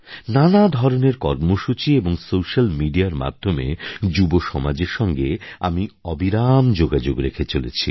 নানা ধরনের কর্মসূচি এবং সোস্যাল মিডিয়ার মাধ্যমে যুবসমাজের সঙ্গে আমি অবিরাম যোগাযোগ রেখে চলেছি